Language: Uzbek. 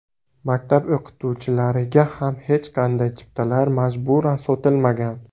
Maktab o‘qituvchilariga ham hech qanday chiptalar majburan sotilmagan.